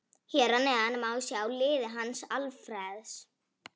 Hér að neðan má sjá liðið hans Alfreðs.